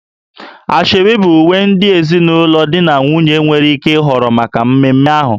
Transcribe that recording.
Asoebi bụ uwe ndị ezinụlọ di na nwunye nwere ike ịhọrọ maka mmemme ahụ